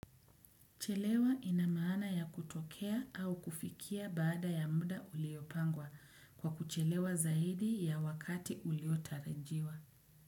Chelewa inamana ya kutokea au kufikia baada ya muda uliopangwa kwa kuchelewa zaidi ya wakati ulio tarajiwa.